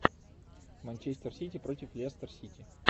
манчестер сити против лестер сити